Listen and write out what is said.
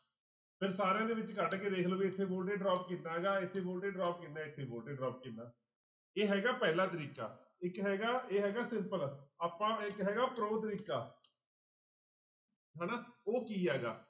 ਫਿਰ ਸਾਰਿਆਂ ਦੇ ਵਿੱਚ ਕੱਢ ਕੇ ਦੇਖ ਲਓ ਵੀ ਇੱਥੇ ਕਿੰਨਾ ਗਾ ਇੱਥੇ ਕਿੰਨਾ ਇੱਥੇ ਕਿੰਨਾ ਇਹ ਹੈਗਾ ਪਹਿਲਾ ਤਰੀਕਾ ਇੱਕ ਹੈਗਾ ਇਹ ਹੈਗਾ simple ਆਪਾਂ ਇੱਕ ਹੈਗਾ ਤਰੀਕਾ ਹਨਾ ਉਹ ਕੀ ਹੈਗਾ